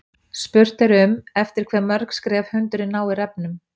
Spurt er um eftir hve mörg skref hundurinn nái refnum.